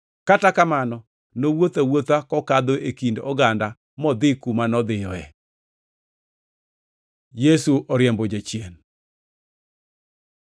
Kata kamano nowuotho awuotha kokadho e kind oganda modhi kuma nodhiyoe. Yesu oriembo jachien